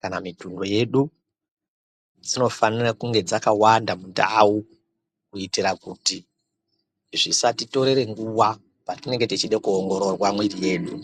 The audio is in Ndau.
kana mitumbu yedu dzinofanira kunge dzakawanda mundau kuitika kuti zvisatitorere nguwa patinenge techida kuongororwa mwiri yedu.